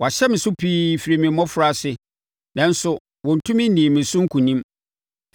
“Wɔahyɛ me so pii firi me mmɔfraase, nanso wɔntumi nnii me so nkonim.